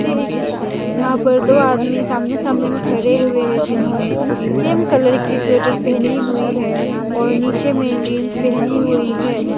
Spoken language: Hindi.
ये है की यहाँ पर दो आदमी सामने सामने में खरे हुए हैं जिन्होंने सेम कलर की स्वेटर पहनी हुई है और नीचे मैं जींस पहनी हुई है।